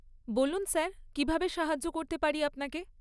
বলুন স্যার, কীভাবে সাহায্য করতে পারি আপনাকে?